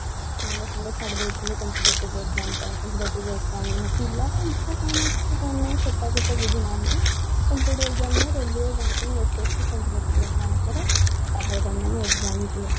ସାଙ୍ଗେ ସାଙ୍ଗେ ଛାଡିଦେଇଥିଲି competitive exam ପାଇଁ competitive exam ହଁ ପିଲାର କଣ ଇଛା ଅଛି କଣ ନାଇଁ ସେଟାକୁ ତ ବୁଝୁନାହାନ୍ତି competitive exam railway banking SSC competitive exam କର ତାପରେ ତମେମାନେ exam ଦିଅ